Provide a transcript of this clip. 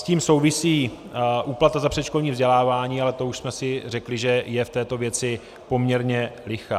S tím souvisí úplata za předškolní vzdělávání, ale to už jsme si řekli, že je v této věci poměrně lichá.